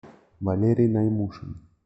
валерий наймушин